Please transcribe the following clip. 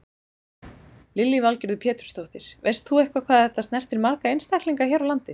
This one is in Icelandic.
Lillý Valgerður Pétursdóttir: Veist þú eitthvað hvað þetta snertir marga einstaklinga hér á landi?